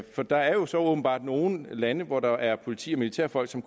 for der er jo så åbenbart nogle lande hvor der er politi og militærfolk som